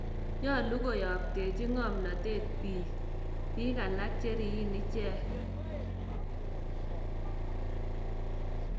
Nyolu koyaaptechi ng�omnateet biik biik alak cheriyin icheck